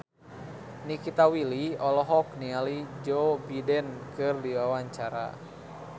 Nikita Willy olohok ningali Joe Biden keur diwawancara